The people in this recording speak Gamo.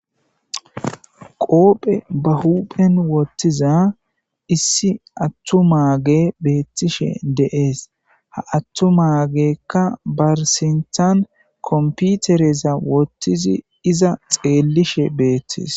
qoophe ba huphen wottiza issi attumaage beettishe deees ha attu maagekka barsintan komputereza wottizi iza xeellishe beettis